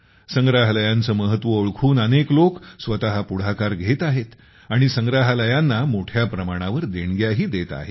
संग्रहालयांचे महत्त्व ओळखून अनेक लोक स्वतः पुढाकार घेत आहेत आणि संग्रहालयांना मोठ्या प्रमाणावर देणग्याही देत आहेत